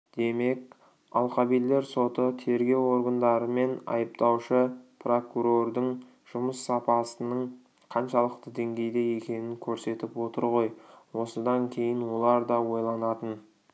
демек алқабилер соты тергеу органдары мен айыптаушы прокурордың жұмыс сапасының қаншалықты деңгейде екенін көрсетіп отыр ғой осыдан кейін олар да ойланатын